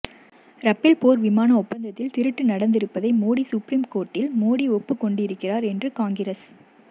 Rafale போர் விமான ஒப்பந்தத்தில் திருட்டு நடந்திருப்பதை மோடி சுப்ரீம் கோர்ட்டில் மோடி ஒப்புக் கொண்டு இருக்கிறார் என்று காங்கிரஸ்